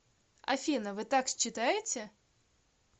афина вы так считаете